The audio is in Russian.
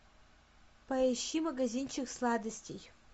поищи магазинчик сладостей